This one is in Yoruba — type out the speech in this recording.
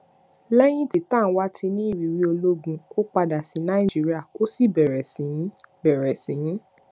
lẹyìn tí tanwa ti ní ìrírí ológun ó padà sí nàìjíríà ó sì bèrè sí í bèrè sí í